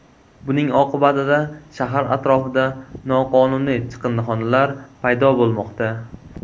Buning oqibatida shahar atrofida noqonuniy chiqindixonalar paydo bo‘lmoqda.